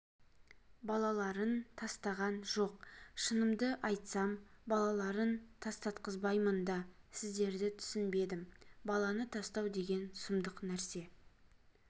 балаларын тастаған жоқ шынымды айтсам балаларын тастатқызбаймын да сіздерді түсінбедім баланы тастау деген сұмдық нәрсе